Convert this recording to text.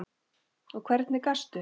Og hvernig gastu?